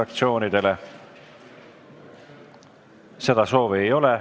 Kõnesoove ei ole.